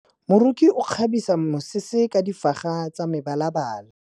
Moroki o kgabisa mesese ka difaga tsa mebalabala.